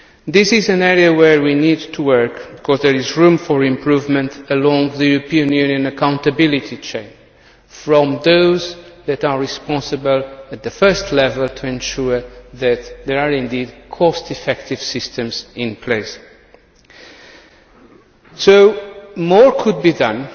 This is an area where we need to work, because there is room for improvement along the European Union accountability chain from those that are responsible at the first level for ensuring that there are indeed cost effective systems in place. More could be done